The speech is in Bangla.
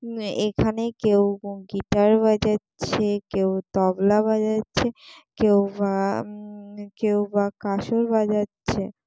উম এখানে কেউ গিটার বাজাচ্ছে কেউ তবলা বাজাচ্ছে কেউ বা উম কেউ বা কাঁসর বাজাচ্ছে।